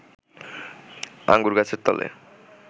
আঙুর গাছের তলে